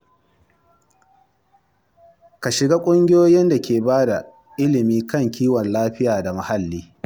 Ka shiga ƙungiyoyin da ke bada ilimi kan kiwon lafiya da muhalli.